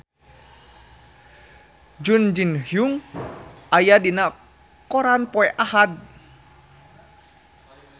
Jun Ji Hyun aya dina koran poe Ahad